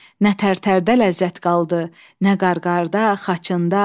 Nə tər-tərdə ləzzət qaldı, nə qar-qarda, xaçında.